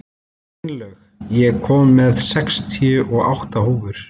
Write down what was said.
Steinlaug, ég kom með sextíu og átta húfur!